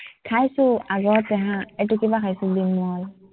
খাইছো আগতে হা, এটো কিবা খাইছিলো মই